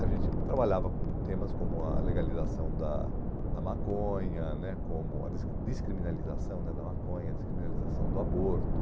A gente trabalhava com temas como a legalização da da maconha né, como a des descriminalização né da maconha, a descriminalização do aborto,